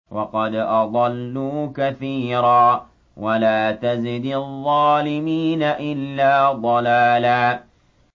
وَقَدْ أَضَلُّوا كَثِيرًا ۖ وَلَا تَزِدِ الظَّالِمِينَ إِلَّا ضَلَالًا